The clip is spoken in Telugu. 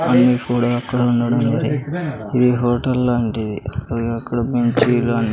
అన్నీ ఫుడా అక్కడ ఉండడం ఉంది ఇది హోటల్ లాంటిది అది అక్కడ భోంచేయడా--